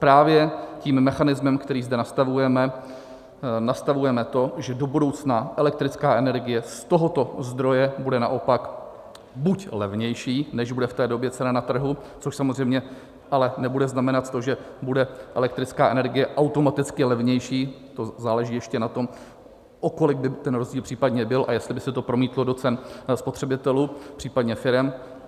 Právě tím mechanismem, který zde nastavujeme, nastavujeme to, že do budoucna elektrická energie z tohoto zdroje bude naopak buď levnější, než bude v té době cena na trhu, což samozřejmě ale nebude znamenat to, že bude elektrická energie automaticky levnější, to záleží ještě na tom, o kolik by ten rozdíl případně byl a jestli by se to promítlo do cen spotřebitelů případně firem.